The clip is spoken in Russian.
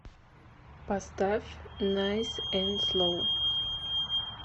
поставь найс энд слоу